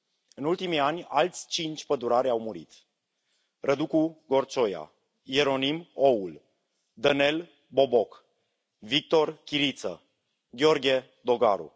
În ultimii ani, alți cinci pădurari au murit Răducu Gorcioia, Ieronim Oul, Dănel Boboc, Victor Chiriță, Gheorghe Dogaru.